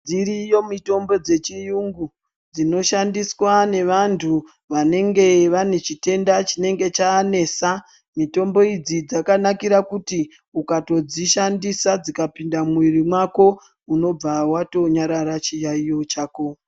Dziriyo mitombo dzechiyungu dzinoshandiswa nevantu vanenge vanechitenda chinege chanesa .Mitombo idzi dzakanakira kuti ukatodzshandisa dzikapinda mumuwiri wako unobva watonyarara chiwairo chako